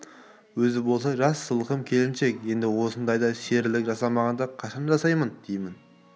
өзі болса жас сылқым келіншек енді осындайда серілік жасамағанда кашан жасайды деймін